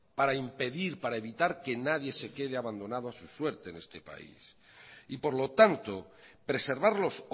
para impedir para evitar que nadie se quede abandonado a su suerte en este país y por lo tanto preservarlos